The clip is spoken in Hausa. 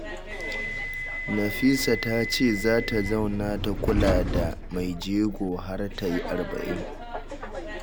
Nafisa ta ce za ta zauna ta kula da maijego har ta yi arba'in